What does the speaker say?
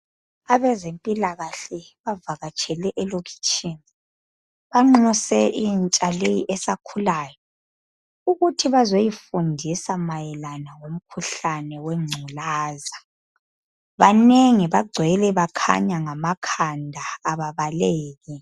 Abezempilakahle bavakatshele elokitshini, banxuse intsha leyi esakhulayo ukuthi bazoyifundisa mayelana ngomkhuhlane wengculaza. Banengi, bagcwele bakhanya ngamakhanda, ababaleki.